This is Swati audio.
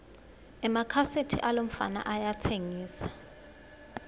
emakhaseti alomfana ayatsengisa